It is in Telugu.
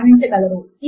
లింక్ ను చూడండి